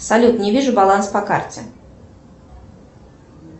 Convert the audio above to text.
салют не вижу баланс по карте